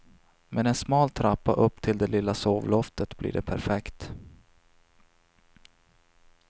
Med en smal trappa upp till det lilla sovloftet blir det perfekt.